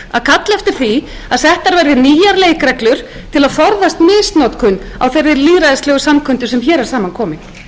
að kalla eftir því að settar verði nýjar leikreglur til að forðast misnotkun á þeirri lýðræðislegu samkundu sem hér er saman komin